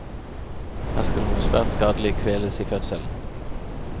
Her skal noe svært skadelig kveles i fødselen.